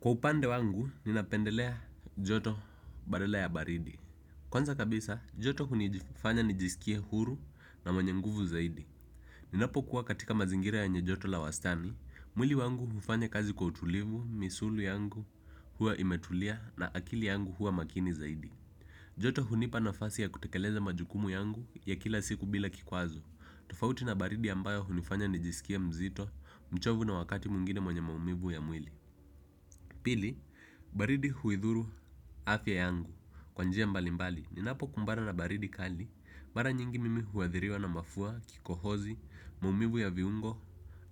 Kwa upande wangu, ninapendelea joto badala ya baridi. Kwanza kabisa joto hunifanya nijiskie huru na mwenye nguvu zaidi. Ninapokuwa katika mazingira yenye joto la wastani, mwili wangu hufanya kazi kwa utulivu, misuli yangu huwa imetulia na akili yangu huwa makini zaidi. Joto hunipa nafasi ya kutekeleza majukumu yangu ya kila siku bila kikwazo. Tufauti na baridi ambayo hunifanya nijisikie mzito, mchovu na wakati mwigine mwenye maumivu ya mwili. Pili, baridi huidhuru afya yangu kwa njia mbali mbali. Ninapokumbana na baridi kali, mara nyingi mimi huadhiriwa na mafua, kikohozi, mumivu ya viungo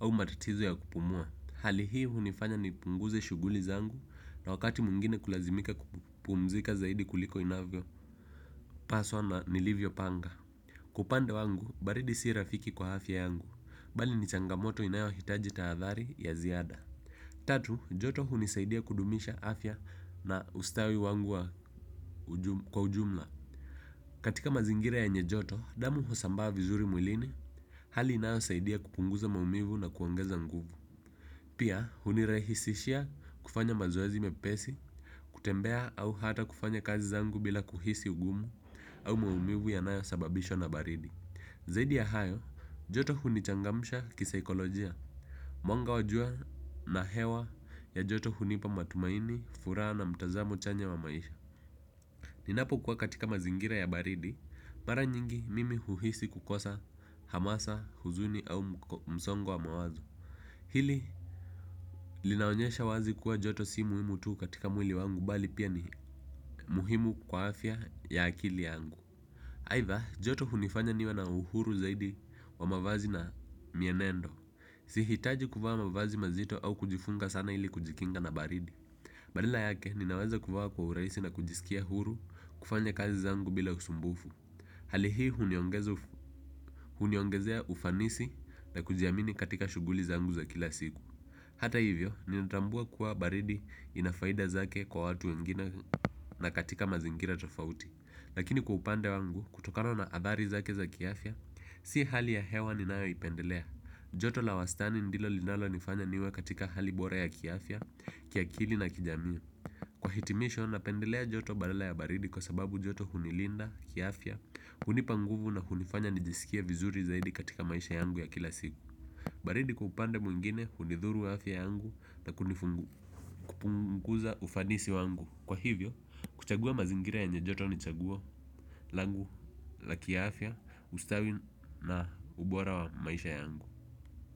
au matatizo ya kupumua. Hali hii hunifanya nipunguze shuguli zangu na wakati mwingine kulazimika kupumzika zaidi kuliko inavyo. Paswa na nilivyo panga. Kwa upande wangu, baridi si rafiki kwa afya yangu. Bali ni changamoto inayohitaji tahadhari ya ziada. Tatu, joto hunisaidia kudumisha afya na ustawi wangu kwa ujumla. Katika mazingira yenye joto, damu husambaa vizuri mwilini hali inayosaidia kupunguza maumivu na kuongeza nguvu pia, hunirahisishia kufanya mazoezi mepesi. Kutembea au hata kufanya kazi zangu bila kuhisi ugumu au maumivu yanayosababishwa na baridi zaidi ya hayo, joto hunichangamsha kisaikolojia. Mwanga wa jua na hewa ya joto hunipa matumaini, furaha na mtazamo chanya wa maisha. Ninapokuwa katika mazingira ya baridi, mara nyingi mimi uhisi kukosa hamasa, huzuni au msongo wa mawazo. Hili linaonyesha wazi kuwa joto si muhimu tu katika mwili wangu bali pia ni muhimu kwa afya ya akili yangu. Aidha, joto hunifanya niwe na uhuru zaidi wa mavazi na mienendo. Sihitaji kuvaa mavazi mazito au kujifunga sana ili kujikinga na baridi badala yake ninaweza kuvaa kwa urahisi na kijisikia huru kufanya kazi zangu bila usumbufu. Hali hii huniongezea ufanisi na kujiamini katika shughuli zangu za kila siku. Hata hivyo, ninatambua kuwa baridi ina faida zake kwa watu wengine na katika mazingira tofauti. Lakini kwa upande wangu, kutokana a athari zake za kiafya, si hali ya hewa ninayoipendelea. Joto la wastani ndilo linalonifanya niwe katika hali bora ya kiafya, kiakili na kijamii. Kwa hitimisho, napendelea joto badala ya baridi kwa sababu joto hunilinda, kiafya, hunipa nguvu na hunifanya nijisikie vizuri zaidi katika maisha yangu ya kila siku. Baridi kwa upande mwingine, hunidhuru afya yangu na kunifungu, kupunguza ufanisi wangu. Kwa hivyo, kuchagua mazingira yenye joto ni chaguo langu la kiafya, ustawi na ubora wa maisha yangu.